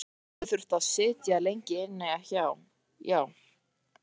Hann gæti þurft að sitja lengi inni, já.